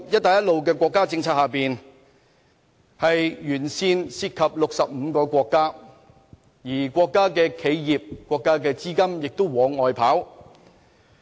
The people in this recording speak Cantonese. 大家都知道在"一帶一路"沿線涉及65個國家，而這些國家企業、國家資金都會往外跑。